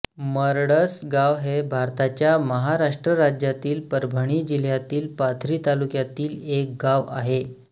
मरडसगाव हे भारताच्या महाराष्ट्र राज्यातील परभणी जिल्ह्यातील पाथरी तालुक्यातील एक गाव आहे